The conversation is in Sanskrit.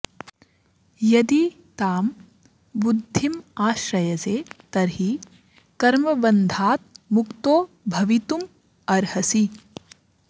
यदि तां बुद्धिम् आश्रयसे तर्हि कर्मबन्धात् मुक्तो भवितुम् अर्हसि